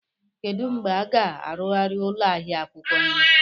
Kedu mgbe a ga-arụgharị ụlọ ahịa akwukwo nri?